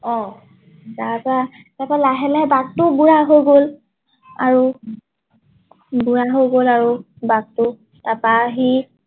অ তাৰ পৰা লাহে লাহে ভাঘটো বুঢ়া হৈ গল আৰু বুঢ়া হৈ গল আৰু বাঘটো তাপা সি